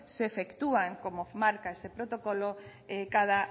se efectúan como marca este protocolo cada